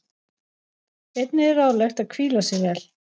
Einnig er ráðlegt að hvíla sig vel.